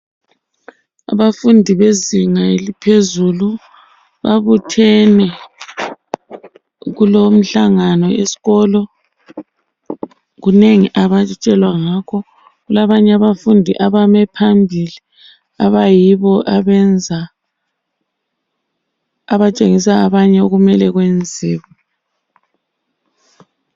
Abafundi bezinga eliphezulu, babuthene kulomhlangano esikolo. Kunengi abatshelwa ngakho. Kulabanye abafundi abame phambili, abayibo abenza, abatshengisa abanye okumele kwenziwe.